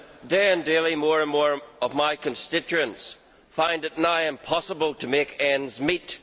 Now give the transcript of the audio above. day more and more of my constituents find it nigh impossible to make ends meet.